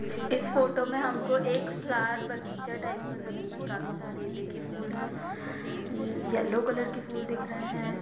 इस फोटो मे हमको एक फ्लावर बगीचा टाइप का नजर आ रहा है जिसमे काफी सारे हमको फ्लावर्स नजर आ रहै है जोकी गें-गेंदे फूल है येलो कलर के फूल दिख रहै है।